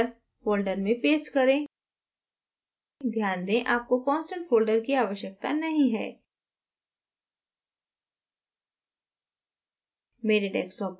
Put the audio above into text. इसे cylinder folder में paste करें ध्यान दें आपको constant folder की आवश्यकता नहीं है